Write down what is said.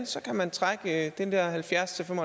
så kan trække halvfjerdstusind